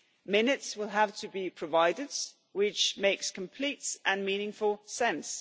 Minutes will have to be provided, which makes complete and meaningful sense.